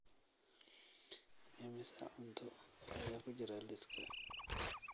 Immisa cunto ayaa ku jira liiska?